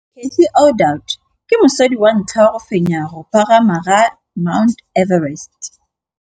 Cathy Odowd ke mosadi wa ntlha wa go fenya go pagama ga Mt Everest.